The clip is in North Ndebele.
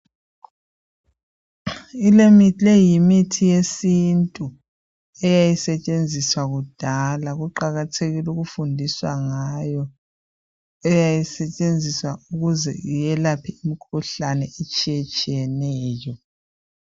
Le yimithi yesintu eyayisetshenziswa kudala kuqakathekile ukufundiswa ngayo eyayisetshenziswa ukuze iyelaphe imikhuhlane etshiye tshiyeneyo